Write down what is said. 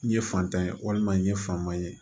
N ye fantan ye walima n ye fanba ye